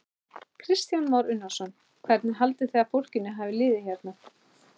Kristján Már Unnarsson: Hvernig haldið þið að fólkinu hafi liðið hérna?